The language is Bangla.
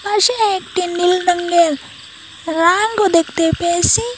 পাশে একটি নীল রঙ্গের রাঙ্গও দেখতে পেয়েসি।